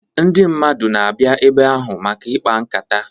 Ndị mmadụ na-abịa ebe ahụ maka ịkpa nkata.